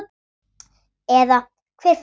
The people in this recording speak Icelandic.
Eða hver fer með.